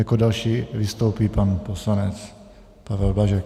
Jako další vystoupí pan poslanec Pavel Blažek.